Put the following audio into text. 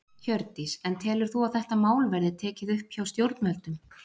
Hjördís: En telur þú að þetta mál verði tekið upp hjá stjórnvöldum?